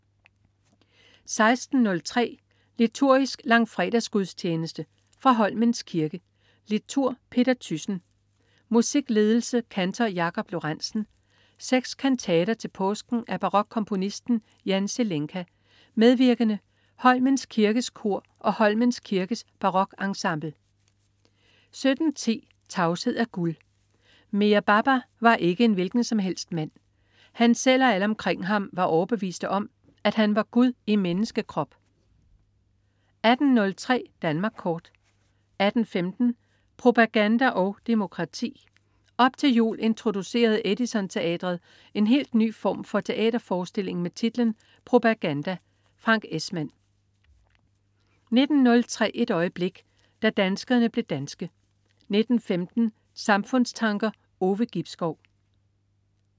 16.03 Liturgisk langfredagsgudstjeneste. Fra Holmens Kirke. Liturg: Peter Thyssen. Musikledelse: Kantor Jakob Lorentzen. 6 kantater til påsken af barokkomponisten Jan Zelenka. Medvirkende: Holmens Kirkes Kor og Holmens Kirkes Barokensemble 17.10 Tavshed er gud. Meher Baba var ikke en hvilken som helst mand. Han selv og alle omkring ham var overbeviste om, at han var Gud i menneskekrop 18.03 Danmark Kort 18.15 Propaganda og Demokrati. Op til jul introducerede Edison Teatret en helt ny form for teaterforestilling med titlen "Propaganda". Frank Esmann 19.03 Et øjeblik. Da danskerne blev danske 19.15 Samfundstanker. Ove Gibskov